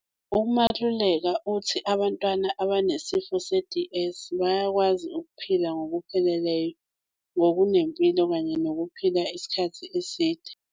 UMaluleka uthi abantwana abanesifo se-DS bayakwazi ukuphila ngokupheleleyo, ngokunempilo kanye nokuphila isikhathi eside.